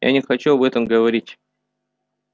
я не хочу об этом говорить